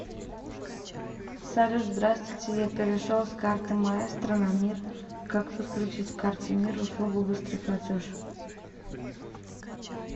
салют здравствуйте я перешел с карты маестро на мир как подключить к карте мир услугу быстрый платеж